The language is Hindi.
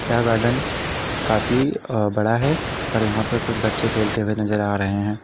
यह गार्डन काफी बड़ा है और यहां पर कुछ बच्चे खेलते हुए नजर आ रहे हैं।